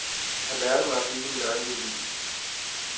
Han lærte mig at bygge min egen violin.